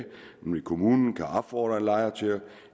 kommunen kan opfordre en lejer af